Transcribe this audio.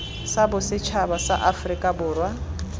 sa bosetšhaba sa aforika borwa